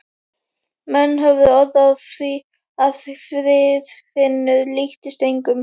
Menn höfðu orð á því að Friðfinnur líktist engum.